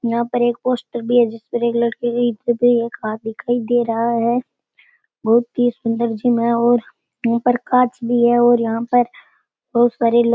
यहाँ पर एक पोस्टर भी है जिसपे एक लड़की की एक हाथ दिखाई दे रहा है बहुत ही सुन्दर जिम है और ऊपर कांच भी है और यहा पर बहुत सारे --